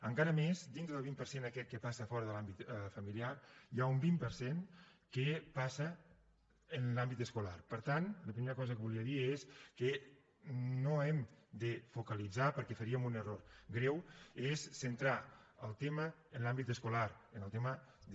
encara més dintre del vint per cent aquest que passa fora de l’àmbit familiar hi ha un vint per cent que passa en l’àmbit escolar per tant la primera cosa que volia dir és que no hem de focalitzar perquè faríem un error greu en centrar el tema en l’àmbit escolar en el tema de